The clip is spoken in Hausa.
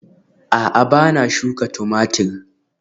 A'a ba na shuka Tumatir